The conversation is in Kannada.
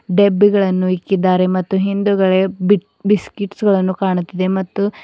ಡೆಬ್ಬಿಗಳನ್ನು ಇಕ್ಕಿದ್ದಾರೆ ಮತ್ತು ಹಿಂದುಗಡೆ ಬಿಕ್ ಬಿಸ್ಕಟ್ಸ್ ಗಳನ್ನು ಕಾಣುತ್ತಿದೆ ಮತ್ತು--